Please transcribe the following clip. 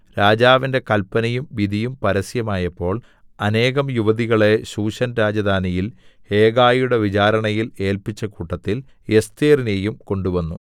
രാജാവിന്റെ കല്പനയും വിധിയും പരസ്യമായപ്പോൾ അനേകം യുവതികളെ ശൂശൻ രാജധാനിയിൽ ഹേഗായിയുടെ വിചാരണയിൽ ഏല്പിച്ച കൂട്ടത്തിൽ എസ്ഥേരിനെയും കൊണ്ടുവന്നു